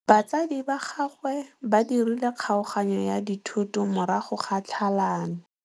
Batsadi ba gagwe ba dirile kgaoganyô ya dithoto morago ga tlhalanô.